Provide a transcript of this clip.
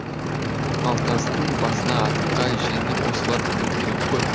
малтастың басына атқа жеңіл осылар мінуі керек қой